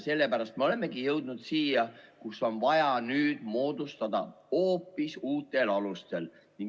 Sellepärast me olemegi jõudnud siia, kus on vaja komisjon moodustada hoopis uutel alustel.